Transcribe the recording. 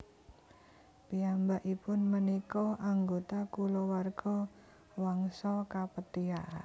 Piyambakipun punika anggota kulawarga Wangsa Kapetia